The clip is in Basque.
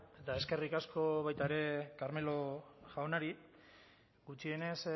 eta eskerrik asko baita ere carmelo jaunari gutxienez